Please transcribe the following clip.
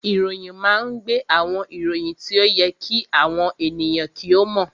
Ìròyìn máa ń gbé àwọn ìròyìn tí ó yẹ kí àwọn ènìyàn kí ó mọ̀